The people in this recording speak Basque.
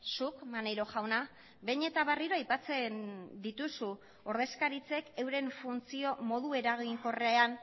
zuk maneiro jauna behin eta berriro aipatzen dituzu ordezkaritzek euren funtzio modu eraginkorrean